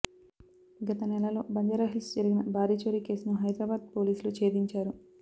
గత నెలలో బంజారాహిల్స్ జరిగిన భారీ చోరీ కేసును హైదరాబాద్ పోలీసులు ఛేదించారు